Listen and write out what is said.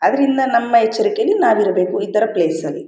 ಅದರಿಂದ ನಮ್ಮ ಎಚ್ಚರಿಕೆಲಿ ನಾವು ಇರಬೇಕು ಈ ತರ ಪ್ಲೇಸ್ ಲಿ.